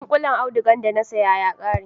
Dunƙullen audugar da na saya ya ƙare